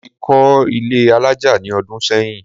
Mo ti kọ́ ilé alájà ní ọdún sẹ́yìn